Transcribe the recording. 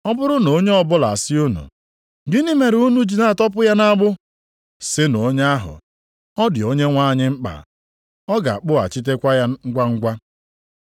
Ọ bụrụ na onye ọbụla asị unu, ‘Gịnị mere unu ji na-atọpụ ya nʼagbụ?’ sịnụ onye ahụ, ‘Ọ dị Onyenwe anyị mkpa, ọ ga-akpụghachitekwa ya ngwangwa.’ ”